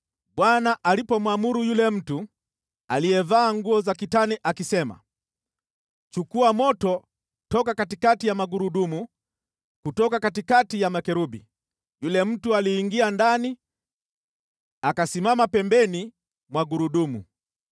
Bwana alipomwamuru yule mtu aliyevaa nguo za kitani akisema, “Chukua moto toka katikati ya magurudumu, kutoka katikati ya makerubi,” yule mtu aliingia ndani akasimama pembeni mwa gurudumu.